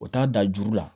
O t'a dan juru la